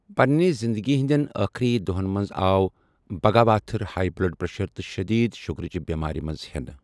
پننہِ زندگی ہنٛدٮ۪ن آخری دۄہَن منٛز آو بگاواتھر ہائی بلڈ پریشر تہٕ شدیٖد شُگَرٕچ بٮ۪مارِ منٛز ہٮ۪نہٕ۔